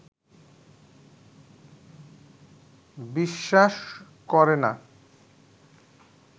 বিশ্বাস করে না